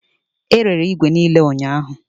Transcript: E rere igwe igwe niile ụnyahụ